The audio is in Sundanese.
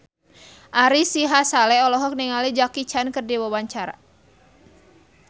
Ari Sihasale olohok ningali Jackie Chan keur diwawancara